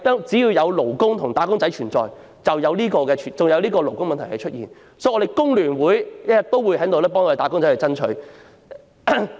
只要有"打工仔"，就會有勞工問題，所以工聯會一定會繼續為"打工仔"爭取權益。